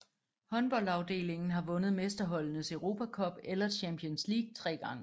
Håndboldafdelingen har vundet Mesterholdenes Europa Cup eller Champions League tre gange